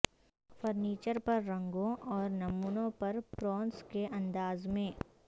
furniture پر رنگوں اور نمونوں پر پرونس کے انداز میں